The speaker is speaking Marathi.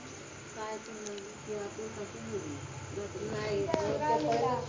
काय